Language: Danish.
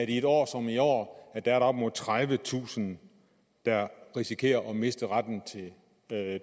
i et år som i år er op mod tredivetusind der risikerer at miste retten til